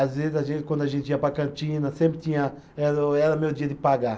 Às vezes a gente, quando a gente ia para a cantina, sempre tinha era o, era meu dia de pagar.